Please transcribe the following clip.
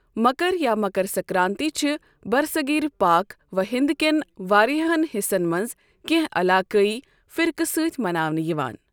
مکر یا مکر سنکرانتی چھِ برصغیر پاک و ہند کٮ۪ن واریاہَن حصن منٛز کینٛہہ علاقٲئی فرقہٕ سۭتۍ مناونہٕ یِوان۔